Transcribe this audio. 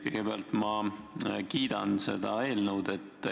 Kõigepealt ma kiidan seda eelnõu.